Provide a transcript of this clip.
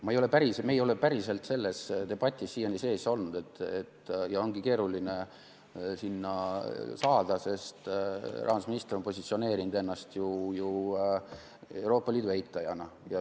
Me ei ole päriselt selles debatis siiani sees olnud ja ongi keeruline sinna saada, sest rahandusminister on positsioneerinud ennast ju Euroopa Liidu eitajana.